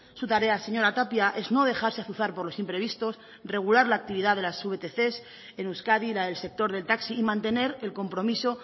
su tarea señora tapia es no dejarse azuzar por los imprevistos regular la actividad de las vtc en euskadi la del sector del taxi y mantener el compromiso